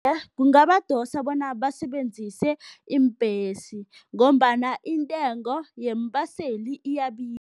Kungabadosa bona basebenzise iimbhesi ngombana intengo yeembaseli